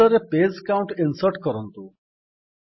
footer ରେ page count insert କରନ୍ତୁ